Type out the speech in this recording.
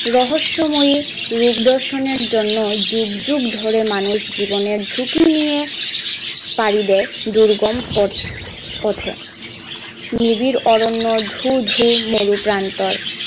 রহস্যময়ী রূপ দর্শনের জন্য ও যুগ যুগ ধরে মানুষ জীবনের ঝুঁকি নিয়ে পাড়ি দেয় দুর্গম পথ পথে নিবিড় অরণ্য, ধুধু প্রান্তর,